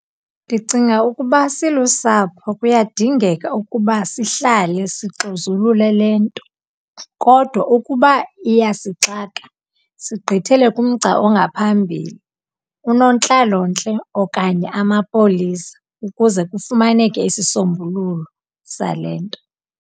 Ndicinga ukuba silusapho kuyadingeka ukuba sihlale sixuzulule le nto. Kodwa ukuba iyasixaka, sigqithele kumgca ongaphambili, unontlalontle okanye amapolisa ukuze kufumaneke isisombululo sale nto.